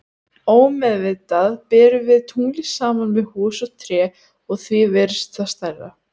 Ómeðvitað berum við tunglið saman við hús og tré og því virðist það stærra.